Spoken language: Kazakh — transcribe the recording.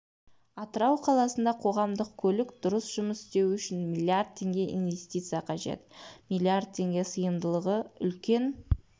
атырау қаласында қоғамдық көлік дұрыс жұмыс істеу үшін миллиард теңге инвестиция қажет миллиард теңге сыйымдылығы үлкен